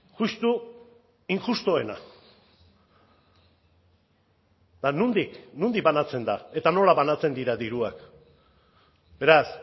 justu injustuena eta nondik nondik banatzen da eta nola banatzen dira diruak beraz